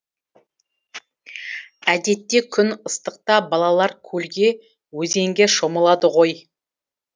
әдетте күн ыстықта балалар көлге өзенге шомылады ғой